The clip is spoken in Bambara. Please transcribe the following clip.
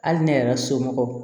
Hali ne yɛrɛ somɔgɔw